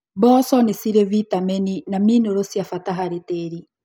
Mboco nĩcirĩ vitamini na minero cia bata harĩ tĩri.